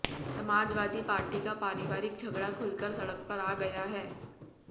Samajwadi party का पारवारिक झगड़ा खुलकर सड़क पर आ गया है